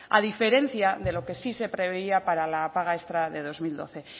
a diferencia de lo que sí se preveía para la paga extra de dos mil doce